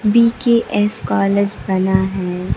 B K S college बना है।